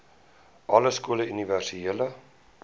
alle skole universele